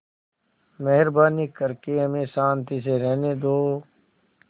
मेहरबानी करके हमें शान्ति से रहने दो